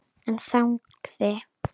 En þagði.